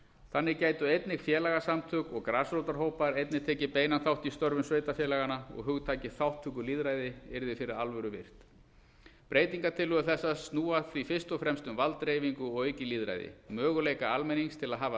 þannig gætu einnig félagasamtök og grasrótarhópar einnig tekið beinan þátt í störfum sveitarfélaganna og hugtakið þátttökulýðræði yrði fyrir alvöru virt breytingartillögur þessar snúa því fyrst og fremst um valddreifingu og aukið lýðræði möguleika almennings til að hafa